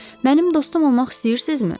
Mənim dostum olmaq istəyirsinizmi?